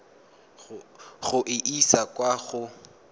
go e isa kwa go